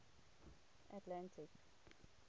atlantic